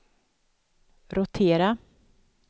rotera